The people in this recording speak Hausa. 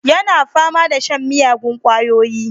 Yana fama da shan miyagun kwayoyi